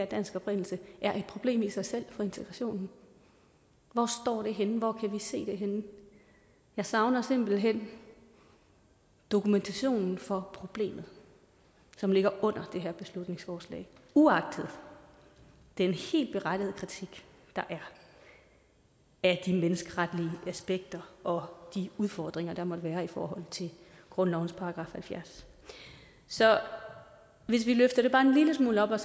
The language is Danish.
dansk oprindelse er et problem i sig selv for integrationen hvor står det henne hvor kan vi se det henne jeg savner simpelt hen dokumentationen for problemet som ligger under det her beslutningsforslag uagtet den helt berettigede kritik der er af de menneskeretlige aspekter og de udfordringer der måtte være i forhold til grundlovens § halvfjerds så hvis vi løfter det bare en lille smule op og